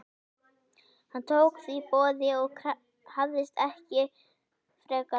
Hann tók því boði og hafðist ekki frekar að.